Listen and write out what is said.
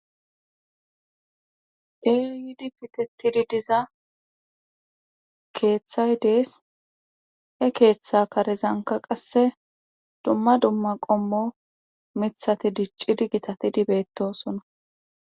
Deeyidi pitetidi diza keeththay dees he keeththa karezanka qasse dumma dumma qommo mithati diccidi gitatidibeetosona.